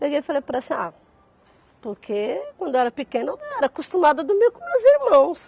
Peguei e falei para ela assim, ah, porque quando eu era pequena eu era acostumada a dormir com meus irmãos.